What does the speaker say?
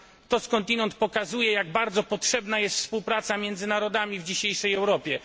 To skądinąd pokazuje, jak bardzo potrzebna jest współpraca między narodami w dzisiejszej Europie.